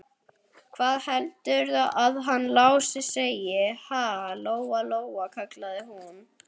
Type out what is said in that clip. Hvað heldurðu að hann Lási segði, ha, Lóa Lóa, kallaði hún.